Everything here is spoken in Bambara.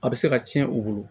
A bɛ se ka tiɲɛ u bolo